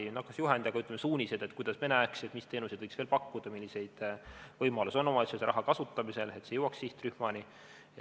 No ei teagi, kas juhendi, aga suunised, kuidas me näeme, mis teenuseid võiks veel pakkuda, milliseid võimalusi on omavalitsusel raha kasutamisel, et see jõuaks sihtrühmani.